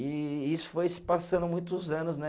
E isso foi se passando muitos anos, né?